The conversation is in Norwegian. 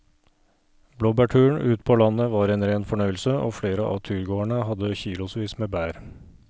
Blåbærturen ute på landet var en rein fornøyelse og flere av turgåerene hadde kilosvis med bær.